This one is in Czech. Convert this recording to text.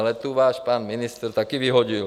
Ale tu váš pan ministr taky vyhodil.